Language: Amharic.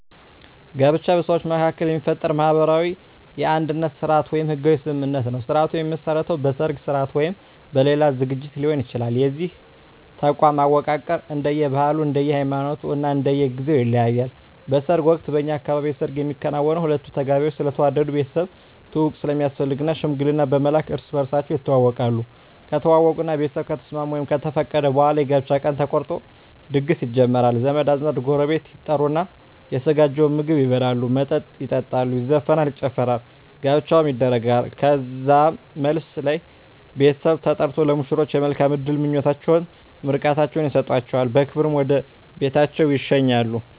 ጋብቻ በሰዎች መካከል የሚፈጠር ማህበራዊ የአንድነት ስርአት ወይም ህጋዊ ስምምነት ነዉ ስርአቱ የሚመሰረተዉ በሰርግ ስርአት ወይም በሌላ ዝግጅት ሊሆን ይችላል የዚህ ተቋም አወቃቀር እንደየ ባህሉ እንደየ ሃይማኖቱ እና እንደየ ጊዜዉ ይለያያል በሰርግ ወቅት በእኛ አካባቢ የሰርግ የሚከናወነዉ ሁለቱ ተጋቢዎች ስለተዋደዱ ቤተሰብ ትዉዉቅ ስለሚያስፈልግ ሽምግልና በመላክ እርስ በርሳቸዉ ይተዋወቃሉ ከተዋወቁእና ቤተሰብ ከተስማሙ ወይም ከፈቀዱ በኋላ የጋብቻ ቀን ተቆርጦ ድግስ ይጀመራል ዘመድ አዝማድ ጎረቤት ይጠሩና የተዘጋጀዉን ምግብ ይበላሉ መጠጥ ይጠጣሉ ይዘፈናል ይጨፈራል ጋብቻዉ ይደረጋል ከዛም መልስ ላይ ቤተሰብ ተጠርቆ ለሙሽሮች የመልካም እድል ምኞታቸዉን ምርቃታቸዉን ይሰጧቸዉና በክብር ወደ ቤታቸዉ ይሸኛሉ